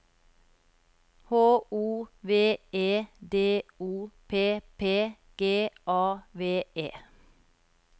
H O V E D O P P G A V E